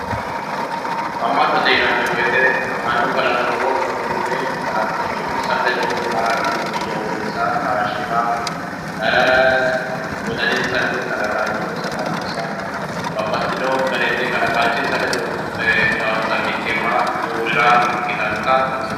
amma'note yinanni woyiite mannu kalaqammi wommunkunni kalaqaanchissa ledo haranno doogonsa taashira wodaninsanni kalaqaanchonssa babbaxino garinni kalaqaanchisa ledo hedhaoonsa mittimma duurira ikkitannota xawisanno.